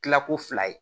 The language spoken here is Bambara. Tilako fila ye